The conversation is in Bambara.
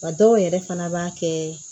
Wa dɔw yɛrɛ fana b'a kɛ